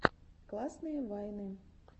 классные вайны